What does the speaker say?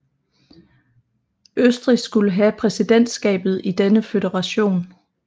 Østrig skulle have præsidentskabet i denne føderation